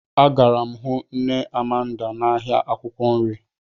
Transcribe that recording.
Agara m hụ nne Amanda m n'ahịa akwụkwọ nri.